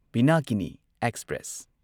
Pinakini express